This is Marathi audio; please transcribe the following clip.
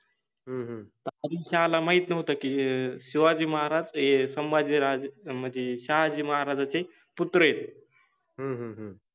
हम्म ला माहित नवत कि हे शिवाजि महाराज हे सम्भाजि राजे मनजे शहाजि माहाराजाचे पुत्र आहेत, हम्म